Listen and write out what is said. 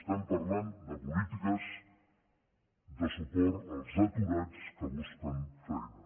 estem parlant de polítiques de suport als aturats que busquen feina